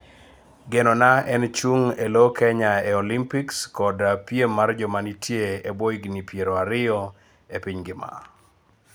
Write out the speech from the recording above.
Geno na en chung' ee loo Kenya ee Olympics kod piem mar joma nitien ebwo higni piero ariyo piny mangima